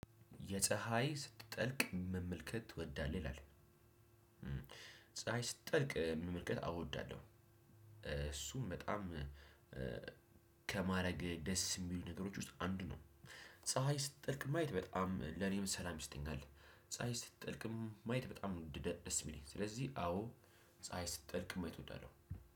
የፀሀይ ስትጠልቅ መመልከት ትወዳለህ ይላል? ፀሀይ ስትጠልቅ መመልከት አው ወዳለሁ። እሱም በጣም ከማረግ ደስ የሚሉ ነገሮች ውስጥ አንዱ ነው። ፀሀይ ስትጠልቅ ማየት በጣም ለኔም ሰላም ይሰጠኛል። ፀሀይ ስትጠልቅም ማየት ደ ደስ የሚለኝ ስለዚህ አዎ ፀሀይ ስትጠልቅም ማየት እወዳለሁ።